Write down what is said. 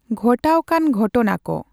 ᱜᱷᱚᱴᱟᱣ ᱠᱟᱱ ᱜᱷᱚᱴᱱᱟ ᱠᱚ᱾.